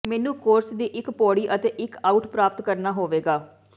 ਮੈਨੂੰ ਕੋਰਸ ਦੀ ਇੱਕ ਪੌੜੀ ਅਤੇ ਇੱਕ ਆਊਟ ਪ੍ਰਾਪਤ ਕਰਨਾ ਹੋਵੇਗਾ